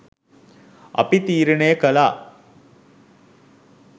අපි තීරනය කලා.